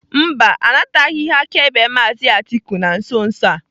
Mba, anabataghị ihe akaebe maazị Atiku na nso nso a.